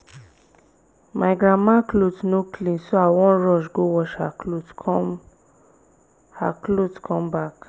my grandma cloth no clean so i wan rush go wash her cloth come her cloth come back